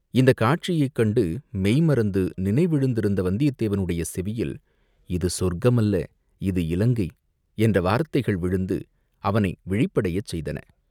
இந்தக் காட்சியைக் கண்டு மெய்ம்மறந்து நினைவிழந்திருந்த வந்தியத்தேவனுடைய செவியில், "இது சொர்க்கம் அல்ல, இது இலங்கை!" என்ற வார்த்தைகள் விழுந்து அவனை விழிப்படையச் செய்தன.